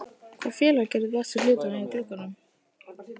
Hvaða félag gerði bestu hlutina í glugganum?